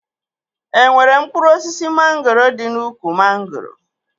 E nwere mkpụrụ osisi mangoro dị n'úkwù mangoro?